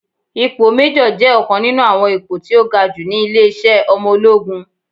Ipò méjọ̀ jẹ́ ọ̀kan nínú àwọn ipò tí ó ga ní ilé-iṣẹ́ ọmọ ológun